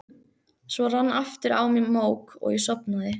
Svo rann aftur á mig mók og ég sofnaði.